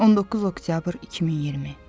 19 oktyabr 2020.